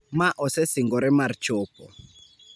ma osesingore mar chopo.